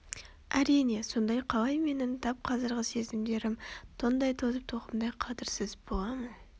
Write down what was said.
Әрине сонда қалай менің тап қазіргі сезімдерім тоңдай тозып тоқымдай қадірсіз бола ма